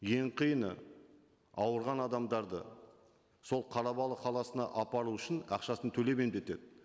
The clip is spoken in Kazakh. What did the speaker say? ең қиыны ауырған адамдарды сол қарабалы қаласына апару үшін ақшасын төлеп емдетеді